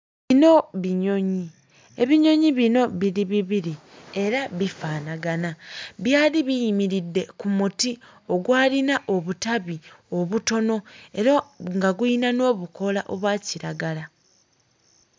Bino binyonyi. Ebinyonyi bino biri bibiri era bifaanagana. Byali biyimiridde ku muti ogwalina obutabi obutono era nga gulina n'obukoola obwa kiragala.